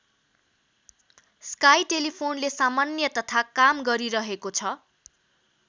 Sky टेलिफोनले सामान्य तथा काम गरिरहेको छ।